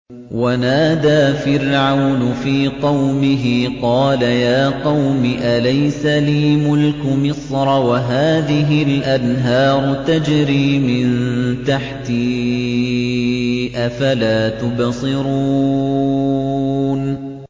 وَنَادَىٰ فِرْعَوْنُ فِي قَوْمِهِ قَالَ يَا قَوْمِ أَلَيْسَ لِي مُلْكُ مِصْرَ وَهَٰذِهِ الْأَنْهَارُ تَجْرِي مِن تَحْتِي ۖ أَفَلَا تُبْصِرُونَ